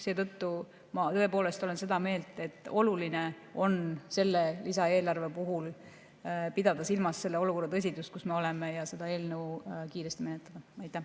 Seetõttu ma tõepoolest olen seda meelt, et oluline on selle lisaeelarve puhul pidada silmas selle olukorra tõsidust, kus me oleme, ja seda eelnõu kiiresti menetleda.